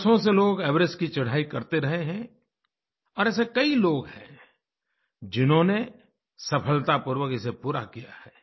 वर्षों से लोग एवरेस्ट की चढ़ाई करते रहे हैं और ऐसे कई लोग हैं जिन्होंने सफलतापूर्वक इसे पूरा किया है